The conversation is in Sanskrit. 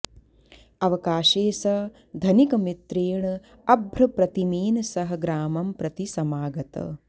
अवकाशे स धनिकमित्रेण अभ्रप्रतिमेन सह ग्रामं प्रति समागत